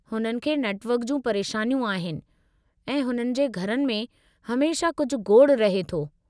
हुननि खे नेटवर्क जूं परेशानियूं आहिनि, ऐं हुननि जे घरनि में हमेशह कुझु गोड़ु रहे थो।